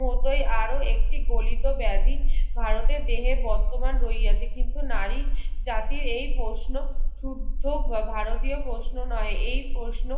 মতোই আরো একটি গলিত বেধি ভারতের দেহের বর্তমান রইয়া যে কিন্তু নারী জাতির এই প্রশ্ন ক্ষুদ্দ ভারতীয় প্রশ্ন নয় এই প্রশ্ন